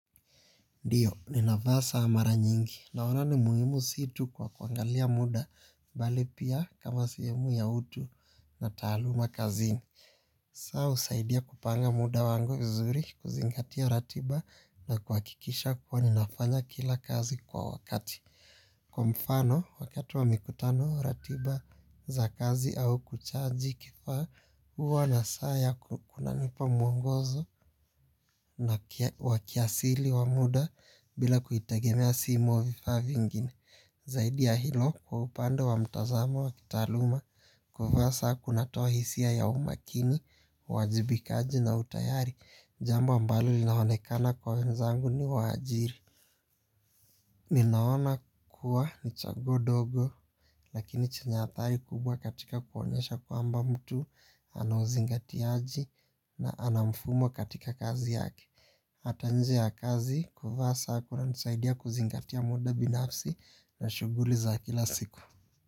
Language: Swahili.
Ndiyo, ninavaa saa mara nyingi. Naona ni muhimu si tu kwa kuangalia muda, bali pia kama sehemu ya utu na taaluma kazini. Saa, husaidia kupanga muda wangu vizuri, kuzingatia ratiba na kuhakikisha kuwa ninafanya kila kazi kwa wakati. Kwa mfano wakati wa mikutano ratiba za kazi au kuchaji kifaa huwa na saa yako kunanipa mwongozo na wa kiasili wa muda bila kuitegemea simu au vifaa vingine. Zaidi ya hilo kwa upande wa mtazamo wa kitaaluma kuvaa saa kunatoa hisia ya umakini uwajibikaji na utayari. Jambo ambalo linaonekana kwa wenzangu ni waajiri. Ninaona kuwa ni chaguo dogo lakini chenye athari kubwa katika kuonyesha kwamba mtu anauzingatiaji na anamfumo katika kazi yake. Hata nje ya kazi kuvaa saa kunanisaidia kuzingatia muda binafsi na shuguli za kila siku.